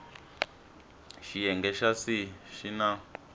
xiyenge xa c xi na